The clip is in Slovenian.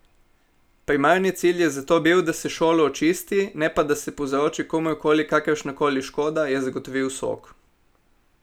Primarni cilj je zato bil, da se šolo očisti, ne pa da se povzroči komurkoli kakršnakoli škoda, je zagotovil Sok.